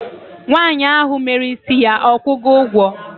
nwanyi ahu mere isi ya okugo ugwo?